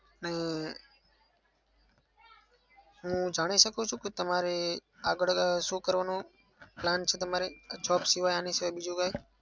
હમ હું જાણી શકું છું કે તમારે આગળ હવે શું કરવાનો plan છે તમારે? આ job સિવાય આના સિવાય બીજું કઈ?